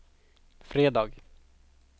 fredag